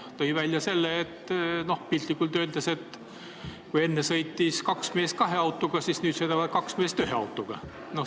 Ta tõi välja, piltlikult öeldes, et kui enne sõitsid kaks meest kahe autoga, siis nüüd hakkavad kaks meest ühe autoga sõitma.